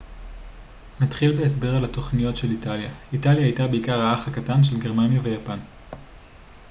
נתחיל בהסבר על התוכניות של איטליה איטליה הייתה בעיקר האח הקטן של גרמניה ויפן